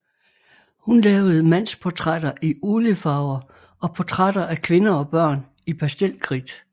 Hun lavede mandsportrætter i oliefarver og portrætter af kvinder og børn i pastelkridt